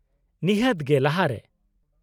-ᱱᱤᱦᱟᱹᱛ ᱜᱮ ᱞᱟᱦᱟᱨᱮ ᱾